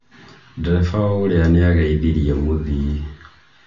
Ndereba ũrĩa nĩageithirie mũthii